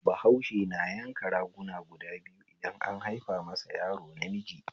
Bahause na yanka raguna guda biyu idan an haifa masa yaro namiji